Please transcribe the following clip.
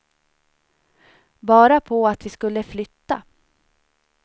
Bara på att vi skulle flytta.